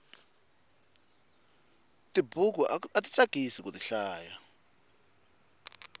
tibuku ati tsakisi kuti hlaya